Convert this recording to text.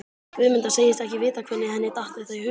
Guðmunda segist ekki vita hvernig henni datt þetta í hug.